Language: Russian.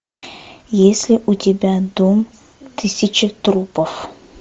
есть ли у тебя дом тысячи трупов